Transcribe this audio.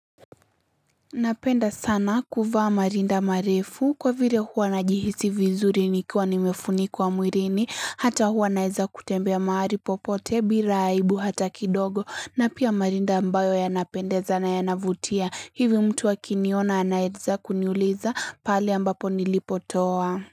Napenda sana kuvaa marinda marefu kwa vire huwa najihisi vizuri nikiwa nimefunikwa mwirini hata huwa naeza kutembea maari popote bila aibu hata kidogo na pia marinda ambayo yanapendeza na yanavutia hivyo mtu akiniona anaedza kuniuliza pale ambapo nilipotoa.